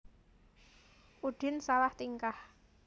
Udin salah tingkah